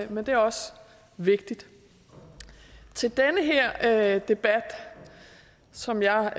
men det er også vigtigt til den her debat som jeg